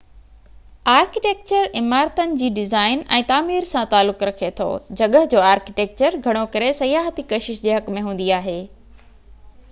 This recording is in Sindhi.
آرڪيٽيڪچر عمارتن جي ڊزائن ۽ تعمير سان تعلق رکي ٿو جڳهه جو آرڪيٽيڪچر گهڻو ڪري سياحتي ڪشش جي حق ۾ هوندي آهي